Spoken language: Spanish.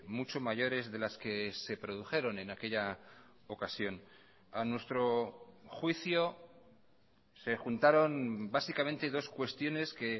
mucho mayores de las que se produjeron en aquella ocasión a nuestro juicio se juntaron básicamente dos cuestiones que